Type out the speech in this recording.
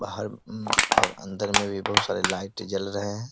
बाहर उम्म और अंदर में भी बहोत सारे लाइट जल रहे हैं।